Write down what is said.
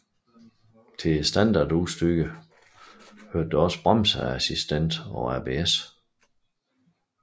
Til standardudstyret hørte også bremseassistent og ABS